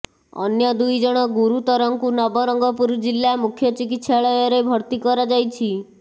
ଅନ୍ୟ ଦୁଇ ଜଣ ଗୁରୁତର ଙ୍କୁ ନବରଙ୍ଗପୁର ଜିଲ୍ଲା ମୁଖ୍ୟ ଚିକିତ୍ସାଳୟରେ ଭର୍ତ୍ତି କରାଯାଇଛି